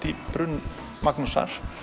í brunn Magnúsar